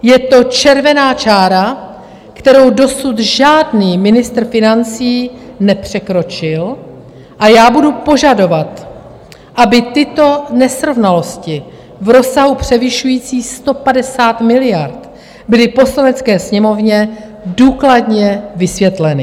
Je to červená čára, kterou dosud žádný ministr financí nepřekročil, a já budu požadovat, aby tyto nesrovnalosti v rozsahu převyšujícím 150 miliard byly Poslanecké sněmovně důkladně vysvětleny.